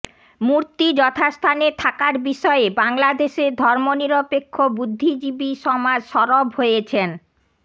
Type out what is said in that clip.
মূর্তি যথাস্থানে থাকার বিষয়ে বাংলাদেশের ধর্মনিরপেক্ষ বুদ্ধিজীবী সমাজ সরব হয়েছেন